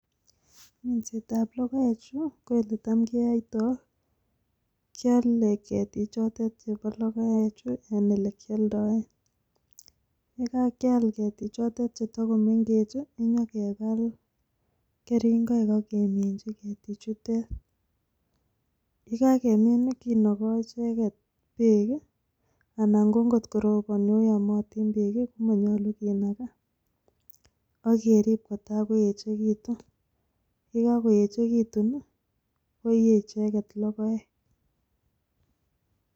Minsetab logoechu ko eletamkeyoitoi kioloo keetik chotet chebo logoechu, en elekioldoen, ye kagial ketichotet chetogomengechen inyon kebab keringoik ak keminyii ketichutet. Yekakimin i,kinogoo icheget beek anan kot ko robooni o yomotiin beek komonyolu kinagaa, ak kerb kotakoyechekituun, yekakoyechegetun i koiyee icheget logoek